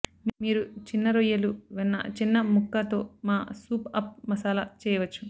మీరు చిన్నరొయ్యలు వెన్న చిన్న ముక్క తో మా సూప్ అప్ మసాలా చెయ్యవచ్చు